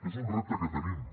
és un repte que tenim